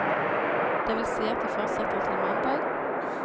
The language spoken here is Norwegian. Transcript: Det vil si at de fortsetter til mandag.